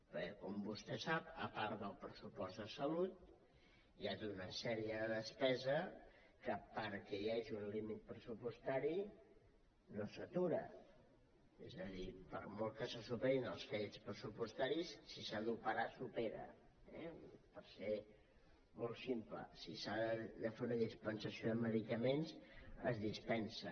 perquè com vostè sap a part del pressupost de salut hi ha tota una sèrie de despeses que perquè hi hagi un límit pressupostari no s’atura és a dir per molt que se superin els crèdits pressupostaris si s’ha d’operar s’opera eh per ser molt simple si s’ha de fer una dispensació de medicaments es dispensen